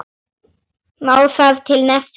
Má þar til nefna